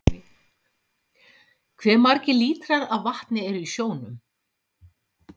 hve margir lítrar af vatni eru í sjónum